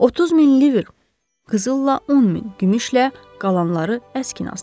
30 min livr qızılla, 10 min gümüşlə, qalanları əskinaslı.